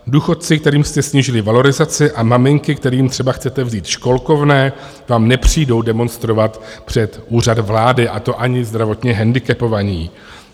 Důchodci, kterým jste snížili valorizaci, a maminky, kterým třeba chcete vzít školkovné, vám nepřijdou demonstrovat před Úřad vlády, a to ani zdravotně hendikepovaní.